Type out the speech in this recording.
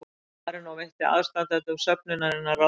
Marínó veitti aðstandendum söfnunarinnar ráðgjöf